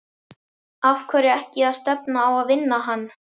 Af hverju ekki að stefna á að vinna hann?